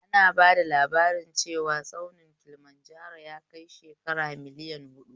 Ana bada labarin cewa tsaunin Kilimanjaro yakai shekara miliyan huɗu